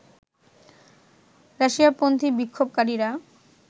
রাশিয়াপন্থী বিক্ষোভকারীরা